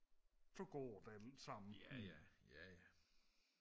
så går det alt sammen